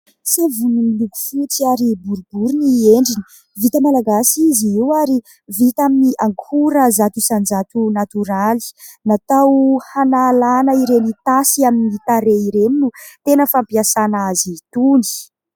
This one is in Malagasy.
Savony miloko fotsy ary boroboriny endriny , vita malagasy izy io ary vita amin'ny ankora zato isan-jato natoraly . Natao hanalana ireny tasy amin'ny tareha ireny no tena fampiasana azy itony